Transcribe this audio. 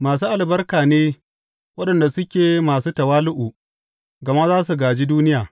Masu albarka ne waɗanda suke masu tawali’u, gama za su gāji duniya.